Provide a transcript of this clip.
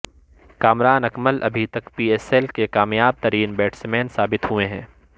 کامران اکمل ابھی تک P S L کے کامیاب ترین بیٹسمین ثابت ہوئے ہیں